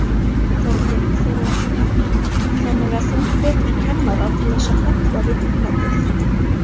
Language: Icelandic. Þorbjörn Þórðarson: Þannig að þú hvetur kennara til þess að fella vinnumatið?